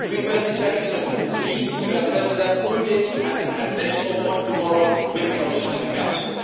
My request is very simple please, Mr President, put it as an additional point tomorrow with the Commission and the Council.